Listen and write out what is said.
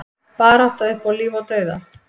Barátta upp á líf og dauða